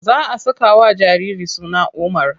Za a sakawa jariri suna Umar.